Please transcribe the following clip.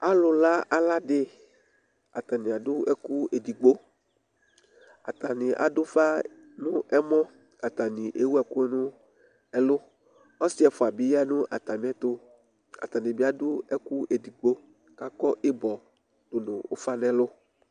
Alula ala di, atadza adu ɛkʋ edigbo Atani adu ufa nʋ ɛmɔ Atani ewu ɛkʋ nʋ ɛlʋ Ɔsɩ ɛfʋa bɩ aya nʋ atami ɛtʋ, kʋ atani bɩ adu ɛkʋ edigbo, kʋ akɔ ɩbɔ dʋ nʋ ufa nʋ ɛlʋ